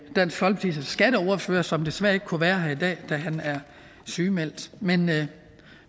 dansk folkepartis skatteordfører som desværre ikke kunne være her i dag da han er sygemeldt men vi